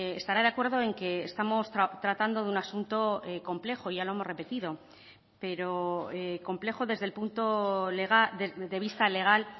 estará de acuerdo en que estamos tratando de un asunto complejo ya lo hemos repetido pero complejo desde el punto de vista legal